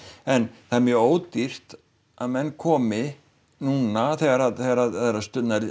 en það er mjög ódýrt að menn komi núna þegar þegar að